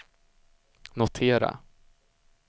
notera